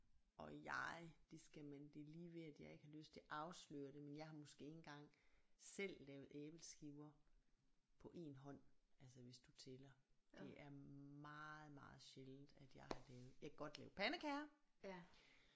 Og jeg det skal man det er lige ved at jeg ikke har lyst til at afsløre det men jeg har måske ikke engang selv lavet æbleskiver på én hånd altså hvis du tæller det er meget meget sjældent at jeg har lavet jeg kan godt lave pandekager